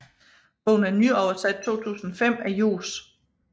Bogen er nyoversat 2005 af Johs